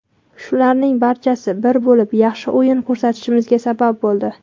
Shularning barchasi bir bo‘lib, yaxshi o‘yin ko‘rsatishimizga sabab bo‘ldi.